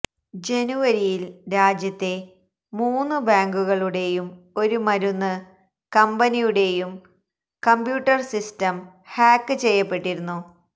ജനുവരിയില് രാജ്യത്തെ മൂന്ന് ബാങ്കുകളുടെയും ഒരു മരുന്ന് കമ്പനിയുടെയും കംപ്യൂട്ടര് സിസ്റ്റം ഹാക്ക് ചെയ്യപ്പെട്ടിരുന്നു